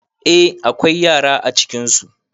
Eh akwai yara acikinsu